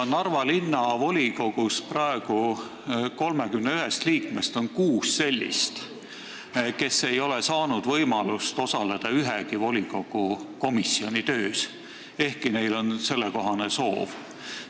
Narva linnavolikogu 31 liikme seas on praegu kuus sellist, kes ei ole saanud võimalust osaleda ühegi volikogu komisjoni töös, ehkki neil on sellekohane soov.